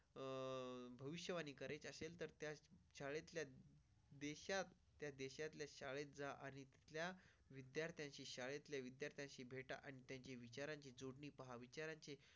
भविष्यवाणी करायचे असेल तर त्याच शाळेत देशात त्या देशातल्या शाळेत जा आणि तिथल्या विद्यार्थ्यांची शाळेतल्या विद्यार्थ्यांशी भेट आणि त्याची विचारांची जोडली. पहा विचारांचे.